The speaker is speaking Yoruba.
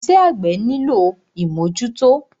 Iṣẹ́ àgbẹ́ nílò ìmọ́jútọ́.